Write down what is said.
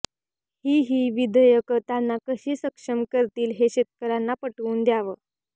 ही ही विधेयकं त्यांना कशी सक्षम करतील हे शेतकऱ्यांना पटवून द्यावं